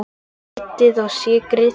Kryddið og sykrið.